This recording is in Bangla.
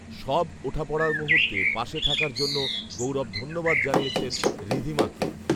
সব ওঠাপড়ার মুহূর্তে পাশে থাকার জন্য গৌরব ধন্যবাদ জানিয়েছেন ঋধিমাকে